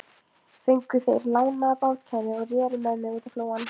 Fengu þeir lánaða bátkænu og reru með mig útá flóann.